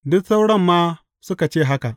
Duk sauran ma suka ce haka.